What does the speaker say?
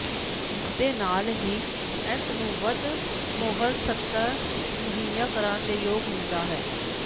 ਇਸ ਦੇ ਨਾਲ ਹੀ ਇਸ ਨੂੰ ਵੱਧ ਮੁਹਰ ਸਤਹ ਮੁਹੱਈਆ ਕਰਨ ਦੇ ਯੋਗ ਹੁੰਦਾ ਹੈ